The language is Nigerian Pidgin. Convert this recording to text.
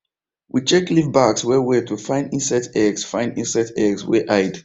we check leaf backs well well to find insects eggs find insects eggs wey hide